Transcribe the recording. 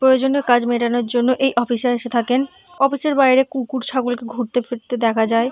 প্রয়োজনীয় কাজ মেটানোর জন্য এই অফিসে এসে থাকেন। অফিস -এর বাইরে কুকুর ছাগল কে ঘুরতে ফিরতে দেখা যায় ।